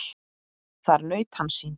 Þar naut hann sín.